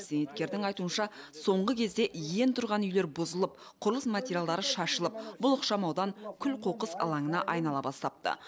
зейнеткердің айтуынша соңғы кезде ең тұрған үйлер бұзылып құрылыс материалдары шашылып бұл ықшамаудан күл қоқыс алаңына айнала бастапты